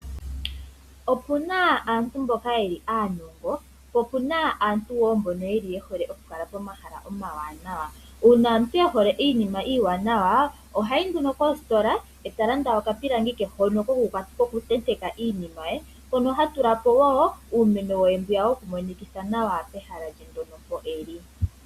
Opuna aantu mboka aanongo naamboka ye hole okukala pomahala omawanawa. Uuna omuntu e hole iinima iiwanawa ohayi nduno koositola, eta landa okapilangi ke hono kokutenteka iinima nenge iimeno yokumonikitha nawa pehala mpoka e li.